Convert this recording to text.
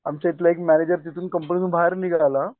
आमच्या हितला एक मॅनेजर तिथून कंपनीतुन बाहेर निघाला